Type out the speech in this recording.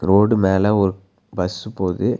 Road மேல ஒரு bus போது.